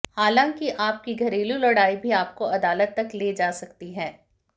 हालांकि आपकी घरेलू लड़ाई भी आपको अदालत तक ले जा सकती है